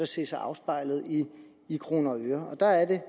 se sig afspejlet i i kroner og øre der er det